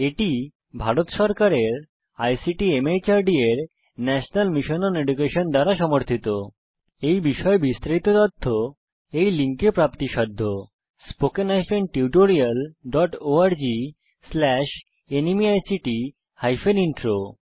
এটি ভারত সরকারের ICT MHRD এর ন্যাশনাল মিশন ওন এডুকেশন দ্বারা সমর্থিতthe national mission on education through ICT MHRD government of India এই বিষয়ে বিস্তারিত তথ্য এই লিঙ্কে প্রাপ্তিসাধ্য spoken hyphen tutorial dot org slash NMEICT hyphen intro